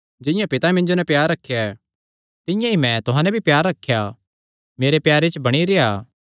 जिंआं पितैं मिन्जो नैं प्यार रखेया तिंआं ई मैं भी तुहां नैं प्यार रखेया मेरे प्यारे च बणी रेह्आ